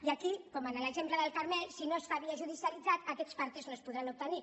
i aquí com en l’exemple del carmel si no es fa via judicialitzada aquests partes no es podran obtenir